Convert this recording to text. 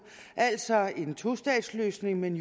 altså om en tostatsløsning men